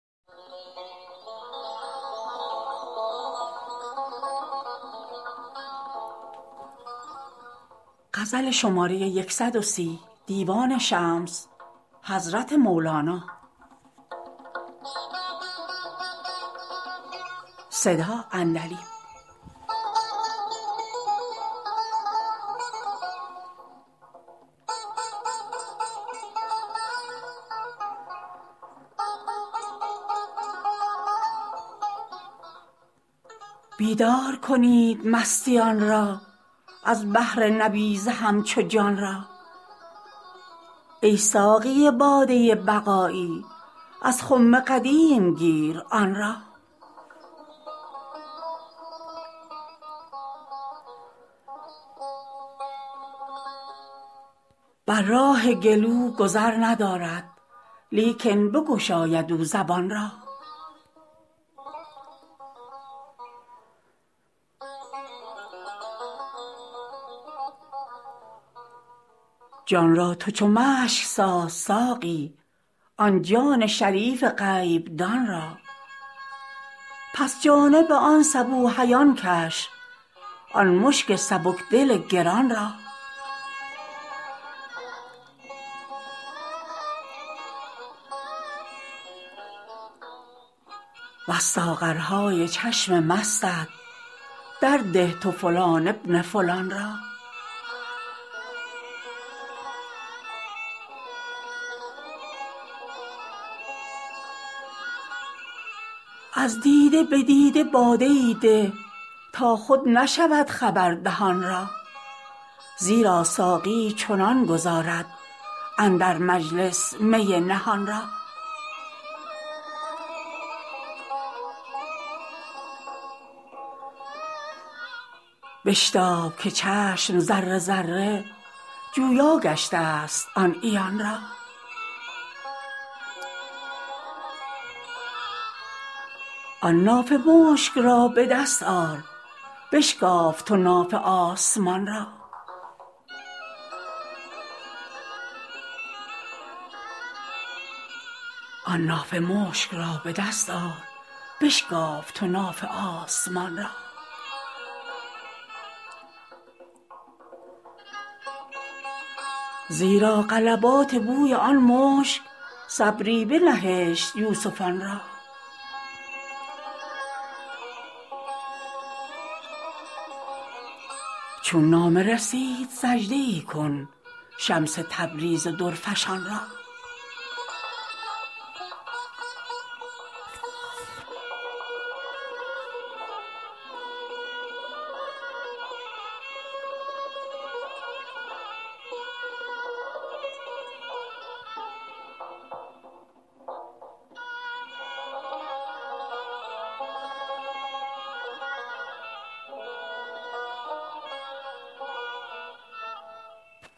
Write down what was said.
بیدار کنید مستیان را از بهر نبیذ همچو جان را ای ساقی باده بقایی از خم قدیم گیر آن را بر راه گلو گذر ندارد لیکن بگشاید او زبان را جان را تو چو مشک ساز ساقی آن جان شریف غیب دان را پس جانب آن صبوحیان کش آن مشک سبک دل گران را وز ساغرهای چشم مستت درده تو فلان بن فلان را از دیده به دیده باده ای ده تا خود نشود خبر دهان را زیرا ساقی چنان گذارد اندر مجلس می نهان را بشتاب که چشم ذره ذره جویا گشتست آن عیان را آن نافه مشک را به دست آر بشکاف تو ناف آسمان را زیرا غلبات بوی آن مشک صبری بنهشت یوسفان را چون نامه رسید سجده ای کن شمس تبریز درفشان را